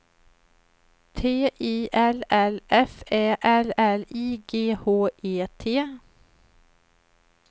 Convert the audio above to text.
T I L L F Ä L L I G H E T